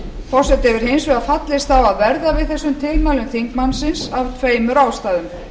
forseti hefur hins vegar fallist á að verða við þessum tilmælum þingmannsins af tveimur ástæðum